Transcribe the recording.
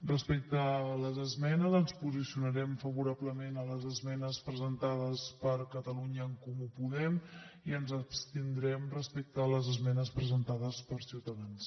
respecte a les esmenes ens posicionarem favorablement a les esmenes presentades per catalunya en comú podem i ens abstindrem respecte a les esmenes presentades per ciutadans